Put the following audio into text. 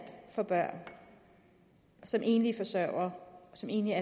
får børn som enlige forsørgere som enlige